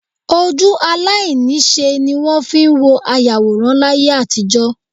Ojú aláìníṣẹ́ ní wọ́n fi ń wo ayàwòrán láyé àtijọ́